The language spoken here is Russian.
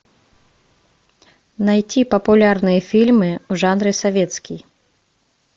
найти популярные фильмы в жанре советский